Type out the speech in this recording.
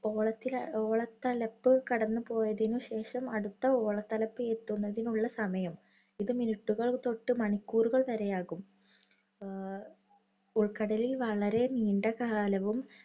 ഓളത്തില് ഓളത്തലപ്പ് കടന്നുപോയതിനു ശേഷം അടുത്ത ഓളത്തലപ്പ് എത്തുന്നതിനുള്ള സമയം, ഇത് minute ഉകൾ തൊട്ട് മണിക്കൂറുകൾ വരെ ആകും. അഹ് ഉള്‍ക്കടലില്‍ വളരെ നീണ്ട കാലവും